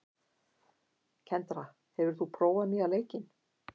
Kendra, hefur þú prófað nýja leikinn?